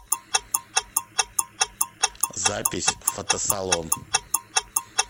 запись фотосалон